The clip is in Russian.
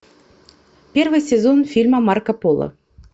первый сезон фильма марко поло